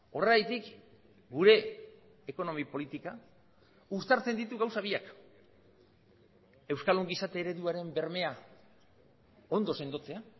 horregatik gure ekonomi politika uztartzen ditu gauza biak euskal ongizate ereduaren bermea ondo sendotzea